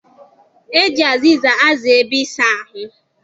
E ji azịza aza ebe ịsa ahụ.